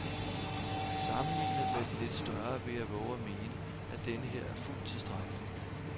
Sammenlignet med den lidt større vil jeg vove at mene, at denneher er fuldt tilstrækkelig.